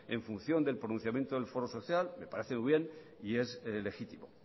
en función del pronunciamiento del foro social me parece muy bien y es legítimo